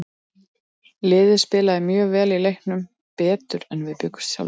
Liðið spilaði mjög vel í leiknum, betur en við bjuggumst sjálfir við.